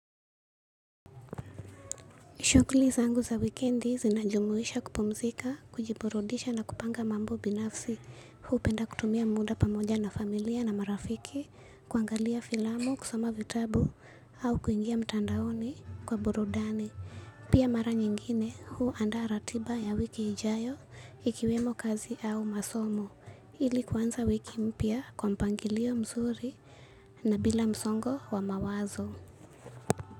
Shughuli zangu za wikendi zinajumuisha kupumzika, kujiburudisha na kupanga mambo binafsi. Huu penda kutumia muda pamoja na familia na marafiki kuangalia filamu, kusoma vitabu au kuingia mtandaoni kwa burudani. Pia mara nyingine huanda ratiba ya wiki ijayo ikiwemo kazi au masomo ili kuanza wiki mpya kwa mpangilio mzuri na bila msongo wa mawazo.